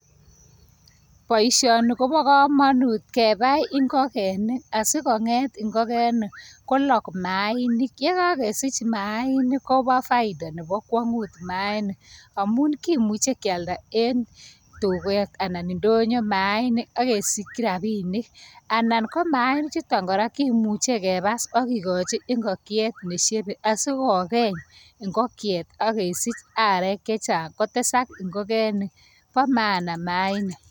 Boishoni kobo komonut kebai ingokenik, asikonget ingokenik kolok mainik. Yekokesich mainik kobo faida nebo kwongut mainik. Amun kimuche kialdaa en tuket anan indonyo mainik akesikyii rabinik. Anan ko mainichutom kora kimuche kebabs akikochi ingokyeet neshebe asikokeny ingokyeet ak kesich aarek chechang. Kotesak ingokenik bo mana mainik.